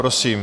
Prosím.